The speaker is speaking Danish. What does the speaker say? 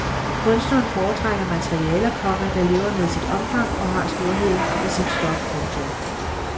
Kunstneren foretrækker materialer, komma der lever med sit omfang og har storheden i sit stof. punktum